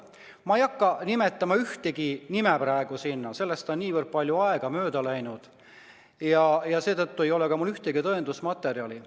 Ma ei hakka praegu siin ühtegi nime nimetama, sellest on niivõrd palju aega mööda läinud ja seetõttu ei ole mul ka ühtegi tõendusmaterjali.